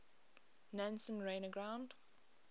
nansen ran aground